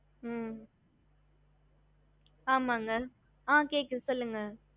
hello mam கேக்குதா அ கேக்குது சொல்லுங்க